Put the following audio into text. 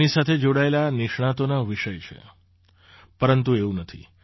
તેની સાથે જોડાયેલા નિષ્ણાતોના વિષય છે પરંતુ એવું નથી